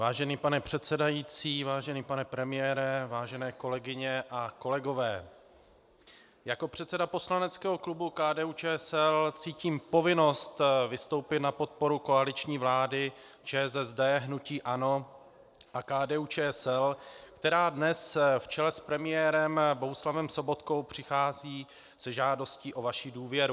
Vážený pane předsedající, vážený pane premiére, vážené kolegyně a kolegové, jako předseda poslaneckého klubu KDU-ČSL cítím povinnost vystoupit na podporu koaliční vlády ČSSD, hnutí ANO a KDU-ČSL, která dnes v čele s premiérem Bohuslavem Sobotkou přichází se žádostí o vaši důvěru.